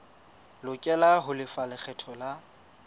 lokela ho lefa lekgetho la